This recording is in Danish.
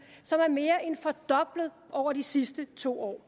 som er mere end fordoblet over de sidste to år